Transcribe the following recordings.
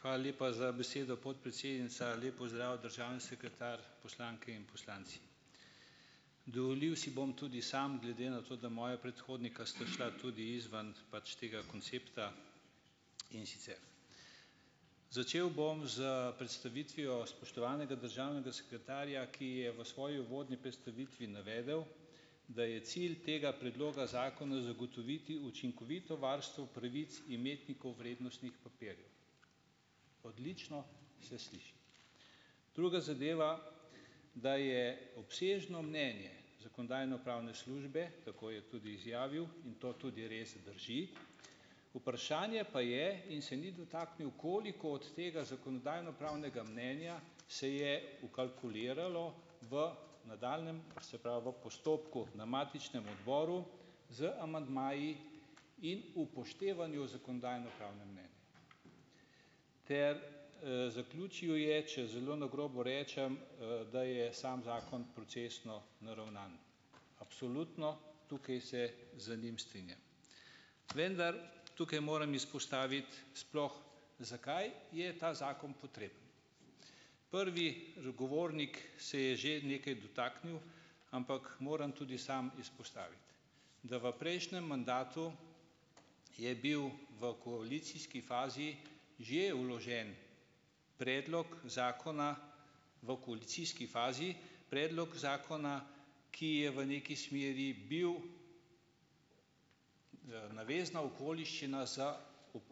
Hvala lepa za besedo, podpredsednica, lep pozdrav, državni sekretar, poslanke in poslanci, dovolil si bom tudi, samo glede na to, da moja predhodnika sta šla tudi izven pač tega koncepta, in sicer začel bom s predstavitvijo spoštovanega državnega sekretarja, ki je v svoji uvodni predstavitvi navedel, da je cilj tega predloga zakona zagotoviti učinkovito varstvo pravic imetnikov vrednostnih papirjev, odlično se sliši, druga zadeva, da je obsežno mnenje zakonodajno-pravne službe, tako je tudi izjavil in to tudi res drži, vprašanje pa je, in se ni dotaknil, koliko od tega zakonodajno-pravnega mnenja se je vkalkuliralo v nadaljnjem, se pravi, v postopku na matičnem odboru z amandmaji in upoštevanju zakonodajno-pravnega mnenja ter, zaključil je, če zelo na grobo rečem, da je samo zakon procesno naravnan, absolutno tukaj se z njim strinjam, vendar tukaj moram izpostaviti, sploh zakaj je ta zakon potreben, prvi zagovornik se je že nekaj dotaknil, ampak moram tudi sam izpostaviti, da v prejšnjem mandatu je bil v koalicijski fazi že vložen predlog zakona v koalicijski fazi, predlog zakona, ki je v neki smeri bil, navezna okoliščina za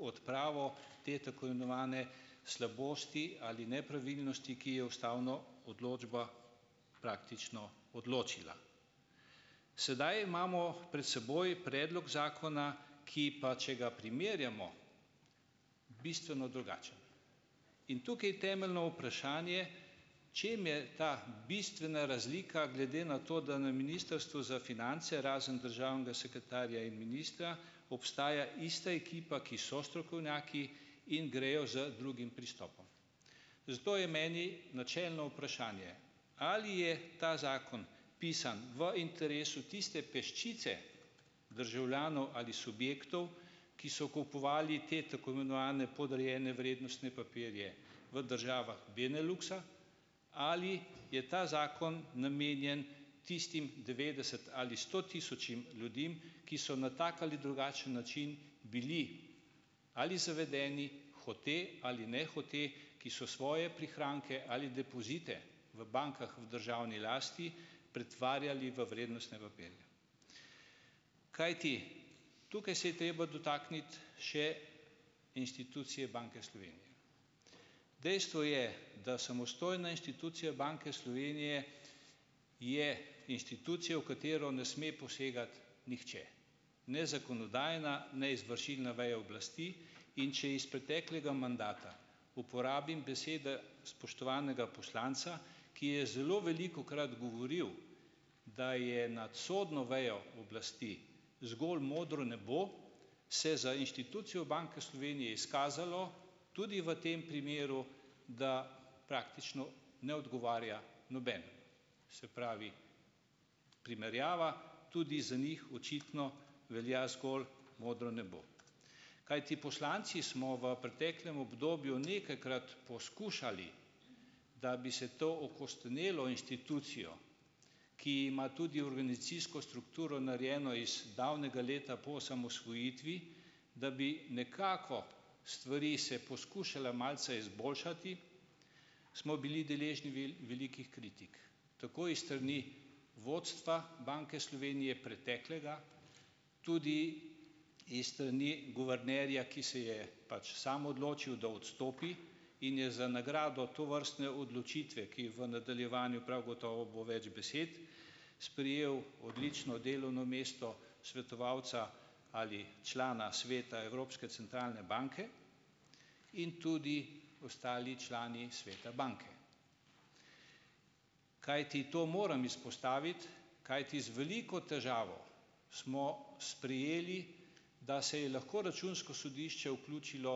odpravo te tako imenovane slabosti ali nepravilnosti, ki je ustavno odločbo praktično odločila, sedaj imamo pred seboj predlog zakona, ki pa če ga primerjamo, bistveno drugačen in tukaj temeljno vprašanje, čem je ta bistvena razlika glede na to, da na ministrstvu za finance razen državnega sekretarja in ministra, ostaja ista ekipa, ki so strokovnjaki in grejo z drugim pristopom, zato je meni načelno vprašanje, ali je ta zakon pisan v interesu tiste peščice državljanov ali subjektov, ki so kupovali te tako imenovane podrejene vrednostne papirje v državah Beneluksa, ali je ta zakon namenjen tistim devetdeset ali sto tisočim ljudem, ki so na tak ali drugačen način bili ali zavedeni, hote ali nehote, ki so svoje prihranke ali depozite v bankah v državni lasti pretvarjali v vrednostne papirje, kajti tukaj se je treba dotakniti še institucije Banke Slovenije, dejstvo je, da samostojna institucija Banke Slovenije je institucija, v katero ne sme posegati nihče, ne zakonodajna ne izvršilna veja oblasti, in če iz preteklega mandata uporabim besede spoštovanega poslanca, ki je zelo velikokrat govoril, da je nad sodno vejo oblasti zgolj modro nebo, se za inštitucijo Banke Slovenije izkazalo tudi v tem primeru, da praktično ne odgovarja nobenemu, se pravi, primerjava tudi za njih očitno velja, zgolj modro nebo, kajti poslanci smo v preteklem obdobju nekajkrat poskušali, da bi se to okostonelo institucijo, ki ima tudi organizacijsko strukturo narejeno iz davnega leta po osamosvojitvi, da bi nekako stvari se poskušale malce izboljšati, smo bili deležni velikih kritik, tako s strani vodstva Banke Slovenije preteklega, tudi s strani guvernerja, ki se je pač sam odločil, da odstopi in je za nagrado tovrstne odločitve, ki v nadaljevanju prav gotovo bo več besed, sprejel odlično delovno mesto svetovalca ali člana sveta evropske centralne banke in tudi ostali člani sveta banke, kajti to moram izpostaviti, kajti z veliko težavo smo sprejeli, da se je lahko računsko sodišče vključilo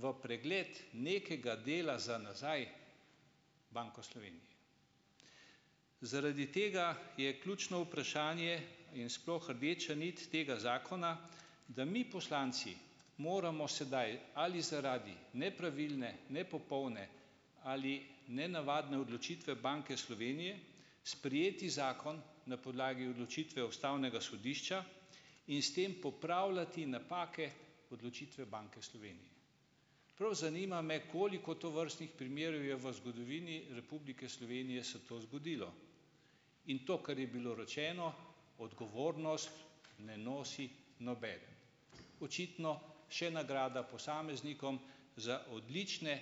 v pregled nekega dela za nazaj, Banko Slovenije, zaradi tega je ključno vprašanje in sploh rdeča nit tega zakona, da mi poslanci moramo sedaj ali zaradi nepravilne nepopolne ali nenavadne odločitve Banke Slovenije sprejeti zakon na podlagi odločitve ustavnega sodišča in s tem popravljati napake odločitve Banke Slovenije, prav zanima me, koliko tovrstnih primerov je v zgodovini Republike Slovenije se to zgodilo, in to, kar je bilo rečeno, odgovornost ne nosi nobeden, očitno še nagrada posameznikom za odlične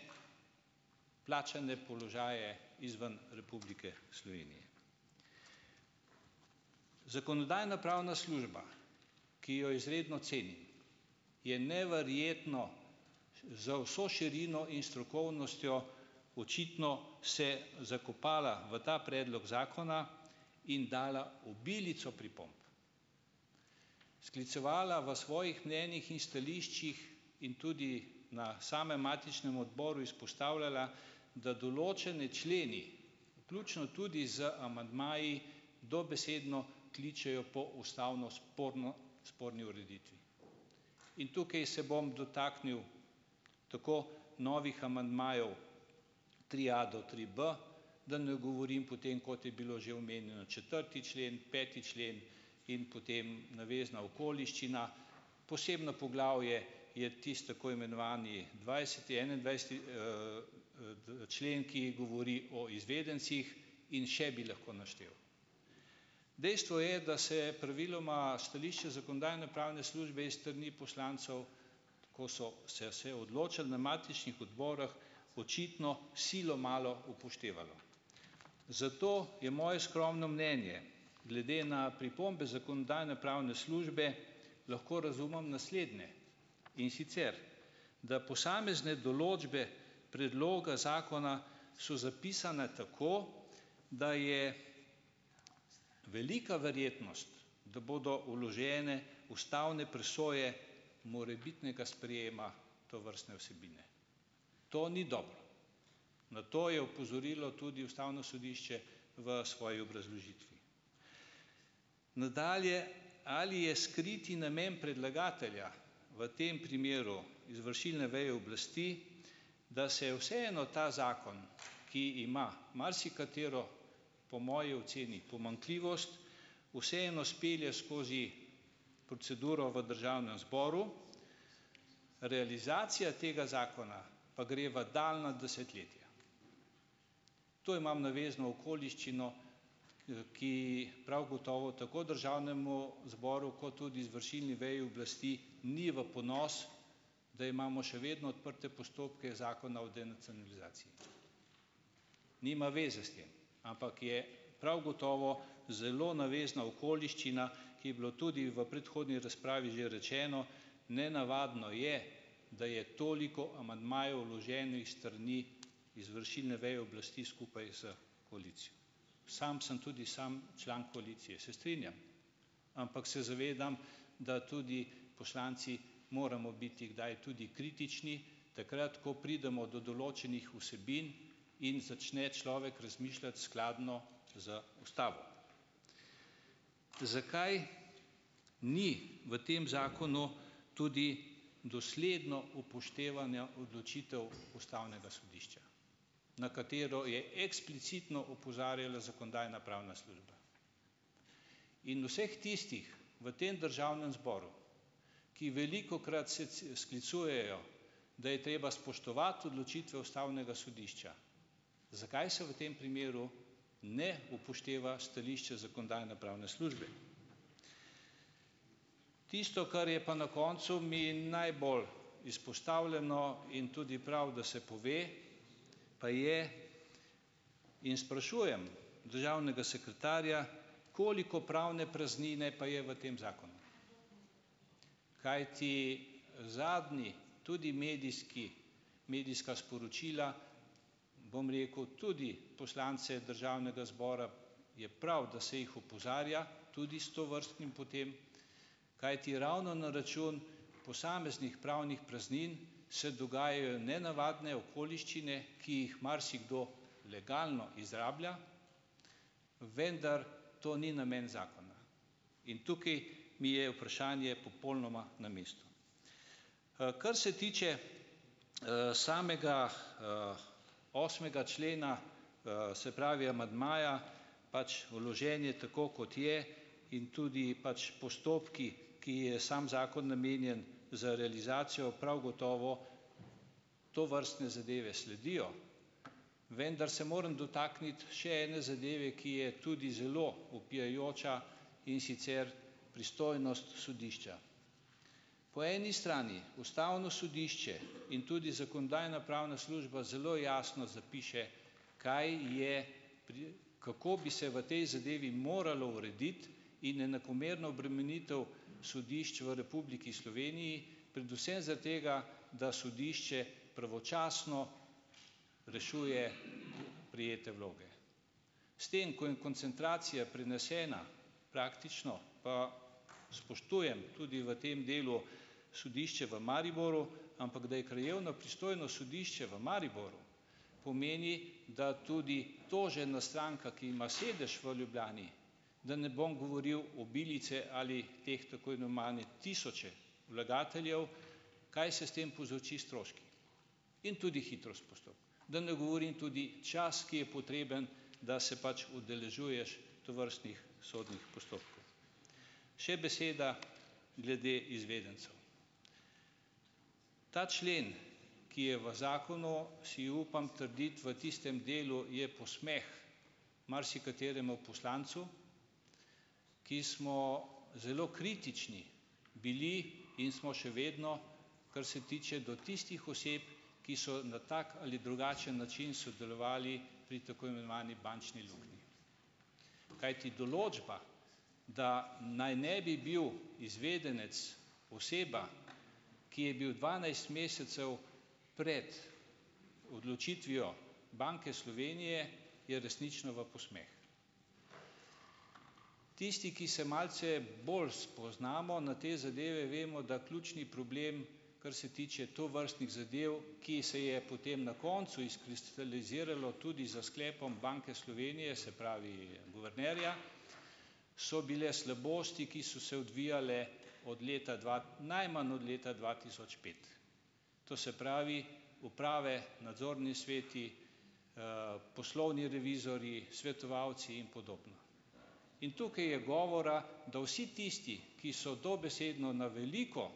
plačane položaje izven Republike Slovenije, zakonodajno-pravna služba, ki jo izredno cenim, je neverjetno za vso širino in strokovnostjo očitno se zakopala v ta predlog zakona in dala obilico pripomb, sklicevala v svojih mnenjih in stališčih in tudi na samem matičnem odboru izpostavljala, da določeni členi, vključno tudi z amandmaji, dobesedno kličejo po ustavno sporno, sporni ureditvi in tukaj so bom dotaknil tako novih amandmajev tri a do tri b, da ne govorim potem, kot je bilo že omenjeno četrti člen, peti člen, in potem navezna okoliščina, posebno poglavje je tisti tako imenovani dvajset enaindvajseti, člen, ki govori o izvedencih, in še bi lahko našteval, dejstvo je, da se je praviloma stališče zakonodajno-pravne službe is strani poslancev, ko so se se odločali na matičnih odborih, očitno silo malo upoštevalo, zato je moje skromno mnenje glede na pripombe zakonodajno-pravne službe lahko razumem naslednje, in sicer da posamezne določbe predloga zakona so zapisane tako, da je velika verjetnost da bodo vložene ustavne presoje morebitnega sprejema tovrstne vsebine, to ni dobro, na to je opozorilo tudi ustavno sodišče v svoji obrazložitvi, nadalje, ali je skriti namen predlagatelja, v tem primeru izvršilne veje oblasti, da se vseeno ta zakon, ki ima marsikatero, po moji oceni, pomanjkljivost, vseeno spelje skozi proceduro v državnem zboru, realizacija tega zakona pa gre v daljna desetletja, to imam navezno okoliščino, ki prav gotovo tako državnemu zboru kot tudi izvršilni veji oblasti ni v ponos, da imamo še vedno odprte postopke zakona o denacionalizaciji, nima zveze s tem, ampak je prav gotovo zelo navezna okoliščina, ki je bila tudi v predhodni razpravi, že rečeno, nenavadno je, da je toliko amandmajev vloženih s strani izvršilne veje oblasti skupaj s koalicijo, sam sem tudi sam član koalicije, se strinjam, ampak se zavedam, da tudi poslanci moramo biti kdaj tudi kritični, takrat ko pridemo do določenih vsebin in začne človek razmišljati skladno z ustavo, zakaj ni v tem zakonu tudi dosledno upoštevanja odločitev ustavnega sodišča, na katero je eksplicitno opozarjala zakonodajna-pravna služba in vseh tistih v tem državnem zboru, ki velikokrat se sklicujejo, da je treba spoštovati odločitve ustavnega sodišča, zakaj se v tem primeru ne upošteva stališča zakonodajno-pravne službe, tisto, kar je pa na koncu mi najbolj izpostavljeno, in tudi prav, da se pove, pa je in sprašujem državnega sekretarja, koliko pravne praznine pa je v tem zakonu, kajti zadnji tudi medijski, medijska sporočila, bom rekel, tudi poslance državnega zbora je prav, da se jih opozarja tudi s tovrstnim potem, kajti ravno na račun posameznih pravnih praznin se dogajajo nenavadne okoliščine, ki jih marsikdo legalno izrablja, vendar to ni namen zakona, in tukaj mi je vprašanje popolnoma na mestu, kar se tiče, samega, osmega člena, se pravi, amandmaja pač vložen je tako, kot je, in tudi pač postopki, ki je sam zakon namenjen za realizacijo prav gotovo, tovrstne zadeve sledijo, vendar se moram dotakniti še ene zadeve, ki je tudi zelo vpijoča, in sicer pristojnost sodišča, po eni strani ustavno sodišče in tudi zakonodajno-pravna služba zelo jasno zapiše, kaj je pri, kako bi se v tej zadevi moralo urediti, in enakomerna obremenitev sodišč v Republiki Sloveniji predvsem zaradi tega, da sodišče pravočasno rešuje prejete vloge, s tem ko jim koncentracija prenesena, praktično pa spoštujem tudi v tem delu sodišče v Mariboru, ampak da je krajevno pristojno sodišče v Mariboru, pomeni, da tudi tožena stranka, ki ima sedež v Ljubljani, da ne bom govoril obilice ali teh tako imenovanih tisoče vlagateljev, kaj se s tem povzroči stroške, in tudi hitrost postopka, da ne govorim tudi čas, ki je potreben, da se pač udeležuješ tovrstnih sodnih postopkov, še beseda glede izvedencev, ta člen, ki je v zakonu, si upam trditi, v tistem delu je posmeh marsikateremu poslancu, ki smo zelo kritični bili in smo še vedno, kar se tiče do tistih oseb, ki so na tak ali drugačen način sodelovali pri tako imenovani bančni luknji, kajti določba, da naj ne bi bil izvedenec oseba, ki je bil dvanajst mesecev pred odločitvijo Banke Slovenije, je resnično v posmeh, tisti, ki se malce bolj spoznamo na te zadeve, vemo, da ključni problem, kar se tiče tovrstnih zadev, ki se je potem na koncu izkristaliziralo tudi s sklepom Banke Slovenije, se pravi guvernerja, so bile slabosti, ki so se odvijale od leta dva najmanj od leta dva tisoč pet, to se pravi uprave, nadzorni sveti, poslovni revizorji, svetovalci in podobno, in tukaj je govora, da vsi tisti, ki so dobesedno na veliko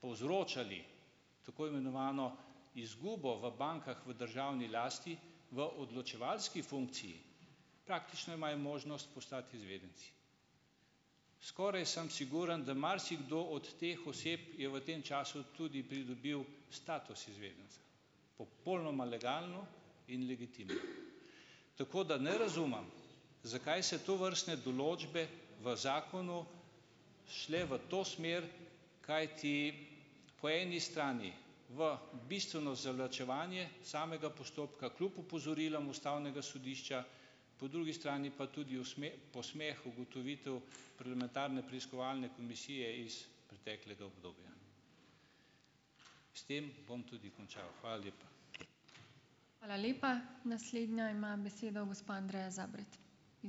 povzročali tako imenovano izgubo v bankah v državni lasti v odločevalski funkciji, praktično imajo možnost postati izvedenci, skoraj sem siguren, da marsikdo od teh oseb je v tem času tudi pridobil status izvedenca popolnoma legalno in legitimno, tako da ne razumem, zakaj se tovrstne določbe v zakonu šle v to smer, kajti po eni strani v bistveno zavlačevanje samega postopka kljub opozorilom ustavnega sodišča, po drugi strani pa tudi posmeh ugotovitev parlamentarne preiskovalne komisije iz preteklega obdobja. S tem bom tudi končal. Hvala lepa.